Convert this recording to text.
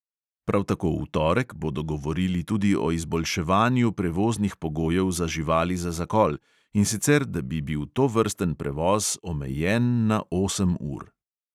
Prav tako v torek bodo govorili tudi o izboljševanju prevoznih pogojev za živali za zakol, in sicer, da bi bil tovrsten prevoz omejen na osem ur.